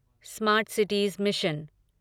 smart cities mission